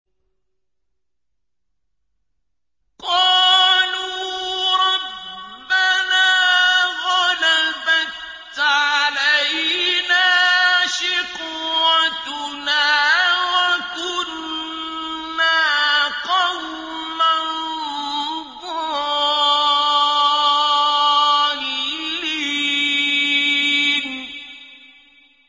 قَالُوا رَبَّنَا غَلَبَتْ عَلَيْنَا شِقْوَتُنَا وَكُنَّا قَوْمًا ضَالِّينَ